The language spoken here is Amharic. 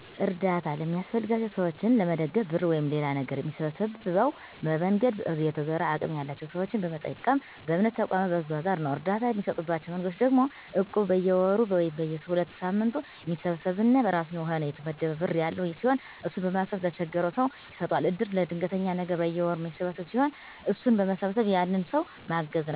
አርዳታ ለሚያስፈልጋቸው ሰዎችን ለመደገፍ ብር ወይም ሌላ ነገር ሚሰበሰበው፦ በመንገድ እየተዞረ፣ አቅም ያላቸው ሰዎችን በመጠየቅ፣ በእምነት ተቋማት በመዟዟር ነው። እርዳታ እሚሰጡባቸው መንገዶች ደግሞ እቁብ፦ በየወሩ ወይም በየ ሁለት ሳምንቱ የሚሰበሰብ እና የራሱ የሆነ የተመደበ ብር ያለው ሲሆን እሱን በማሰባሰብ ለተቸገረው ሰው ይሰጠዋል። እድር፦ ለድንገተኛ ነገር በየወሩ ሚሰበሰብ ብር ሲሆን እሱን በመሰብሰብ ያንን ሰው ማገዝ ነው።